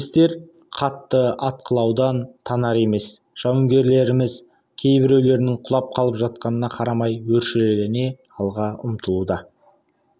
немістер қатты атқылаудан танар емесжауынгерлеріміз кейбіреулерінің құлап қалып жатқанына қарамай өршелене алға ұмтылуда